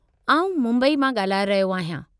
आउं मुंबई मां ॻाल्हाए रहियो आहियां।